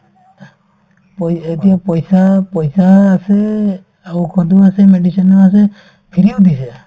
পই এতিয়া পইচা পইচা আছে আকৌ ঔষধো আছে medicine ও আছে free ও দিছে